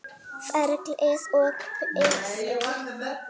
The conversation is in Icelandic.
Ferlið og dygðin.